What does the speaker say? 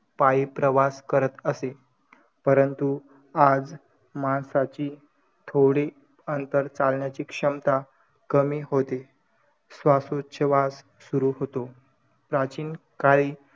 up blackmail वैगरे-वैगरे काहीही पण मुली या जगामध्ये safe नाहीयेत .वर डोक करून ति चालुच शकत नाय कारण की या दरोडो खोला~